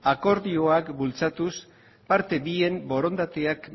akordioak bultzatuz parte bien borondateak